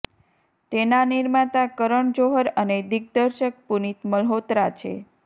તેના નિર્માતા કરણ જૌહર અને દિગ્દર્શક પુનીત મલ્હોત્રા છે